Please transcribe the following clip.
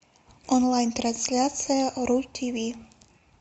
онлайн трансляция ру тв